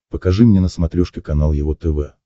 покажи мне на смотрешке канал его тв